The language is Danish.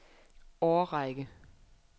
årrække